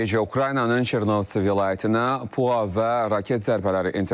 Rusiya bu gecə Ukraynanın Çernovtsi vilayətinə PUA və raket zərbələri endirib.